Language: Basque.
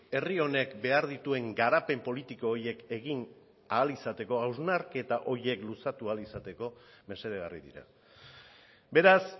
herri honek behar dituen garapen politiko horiek egin ahal izateko hausnarketa horiek luzatu ahal izateko mesedegarri dira beraz